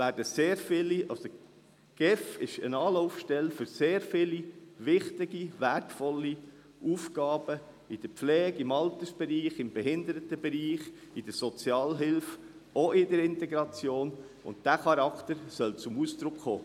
Die GEF ist eine Anlaufstelle für sehr viele wichtige, wertvolle Aufgaben in der Pflege, im Altersbereich, im Behindertenbereich, in der Sozialhilfe, auch in der Integration, und dieser Charakter soll zum Ausdruck kommen.